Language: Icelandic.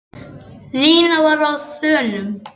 Nína var á þönum.